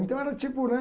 Então era tipo, né?